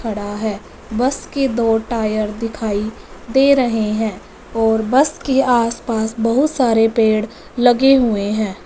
खड़ा है। बस के दो टायर दिखाई दे रहे है और बस के आसपास बहुत सारे पेड़ लगे हुए है।